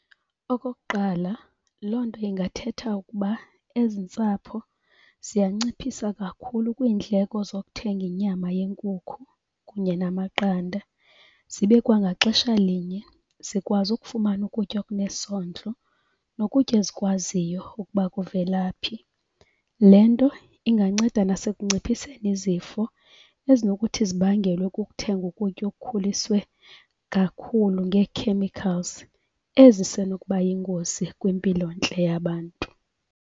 Okokuqala, loo nto ingathetha ukuba ezi ntsapho ziyanciphisa kakhulu kwiindleko zokuthenga inyama yenkukhu kunye namaqanda. Zibe kwangaxesha linye zikwazi ukufumana ukutya okunesondlo nokutya ezikwaziyo ukuba kuvela phi. Le nto inganceda nasekunciphiseni izifo ezinokuthi zibangelwe kukuthenga ukutya okukhuliswe kakhulu ngee-chemicals ezisenokuba yingozi kwimpilontle yabantu.